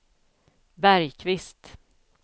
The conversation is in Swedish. Bergkvist